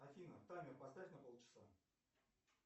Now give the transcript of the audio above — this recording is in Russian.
афина таймер поставь на полчаса